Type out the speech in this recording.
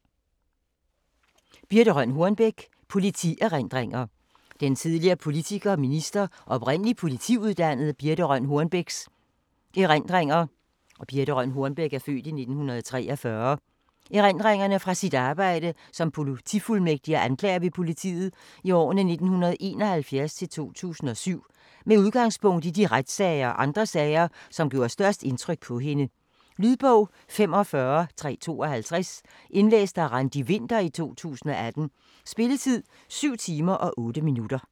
Hornbech, Birthe Rønn: Politierindringer Den tidligere politiker, minister og oprindelig politiuddannede Birthe Rønn Hornbechs (f. 1943) erindringer fra sit arbejde som politifuldmægtig og anklager ved politiet i årene 1971-2007, med udgangspunkt i de retssager og andre sager, som gjorde størst indtryk på hende. Lydbog 45352 Indlæst af Randi Winther, 2018. Spilletid: 7 timer, 8 minutter.